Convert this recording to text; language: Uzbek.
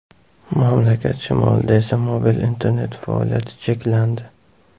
Mamlakat shimolida esa mobil internet faoliyati cheklandi.